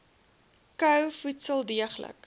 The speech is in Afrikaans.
kou voedsel deeglik